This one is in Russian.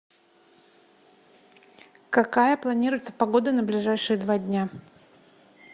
какая планируется погода на ближайшие два дня